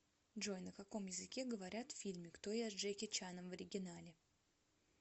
джой на каком языке говорят в фильме кто я с джеки чаном в оригинале